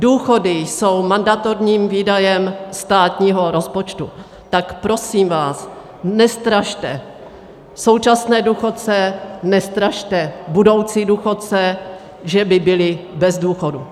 Důchody jsou mandatorním výdajem státního rozpočtu, tak prosím vás, nestrašte současné důchodce, nestrašte budoucí důchodce, že by byli bez důchodů.